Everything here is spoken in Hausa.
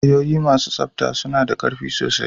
Wayoyi masu tsabta suna da ƙarfi sosai.